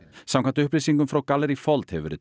samkvæmt upplýsingum frá gallerí fold hefur verið